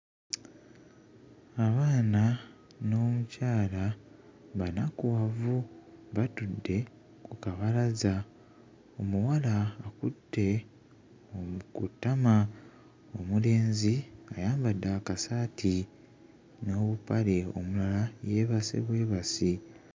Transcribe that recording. Abaana n'omukyala banakuwavu batudde ku kabalaza omuwala akutte omu ku ttama omulenzi ayambadde akasaati n'obupale omulala yeebase bwebasi